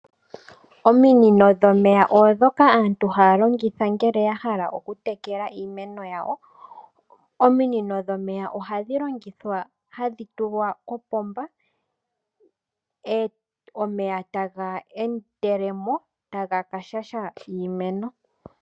Ominino dhomeya oondhoka aantu haya longitha ngele ya hala okutekela iimeno yawo. Ominino dhomeya ohadhi longithwa hadhi tulwa kopomba omeya taga endele mo taga ka shasha iimeno.